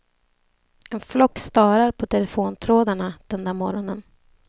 En flock starar på telefontrådarna den där morgonen.